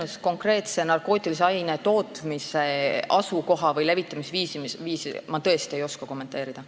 Ei, konkreetse narkootilise aine tootmise asukohta või levitamisviisi ma tõesti ei oska kommenteerida.